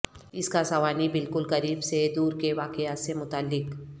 اس کا سوانحی بالکل قریب سے دور کے واقعات سے متعلق